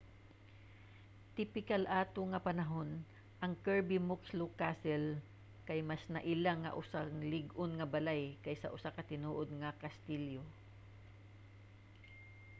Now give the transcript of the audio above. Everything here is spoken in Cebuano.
tipikal ato nga panahon ang kirby muxloe castle kay mas naila nga usa lig-on nga balay kaysa usa ka tinuod nga kastilyo